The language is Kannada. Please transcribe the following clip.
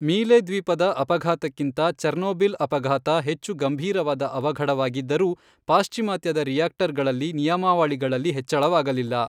ಮೀಲೆ ದ್ವೀಪದ ಅಪಘಾತಕ್ಕಿಂತ ಚೆರ್ನೋಬಿಲ್ ಅಪಘಾತ ಹೆಚ್ಚು ಗಂಭೀರವಾದ ಅವಘಡವಾಗಿದ್ದರೂ ಪಾಶ್ಚಿಮಾತ್ಯದ ರಿಯಾಕ್ಟರ್ ಗಳಲ್ಲಿ ನಿಯಮಾವಳಿಗಳಲ್ಲಿ ಹೆಚ್ಚಳವಾಗಲಿಲ್ಲ.